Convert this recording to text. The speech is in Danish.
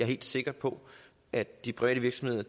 helt sikker på at de private virksomheder